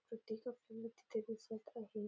इथे खूप मुर्त्या दिसत आहेत.